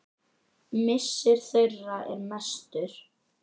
Missir þeirra er mestur.